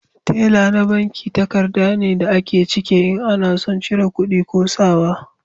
Tela na banki takarda ne da a ke cike in ana son cire kudi ko sa wa